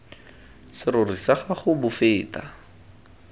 serori sa gago bo feta